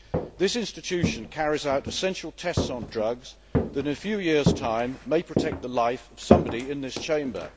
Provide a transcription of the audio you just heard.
This institution carries out essential tests on drugs that, in a few years' time, may protect the life of somebody in this Chamber.